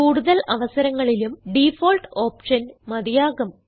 കൂടുതൽ അവസരങ്ങളിലും default option മതിയാകും